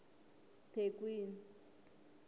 thekwini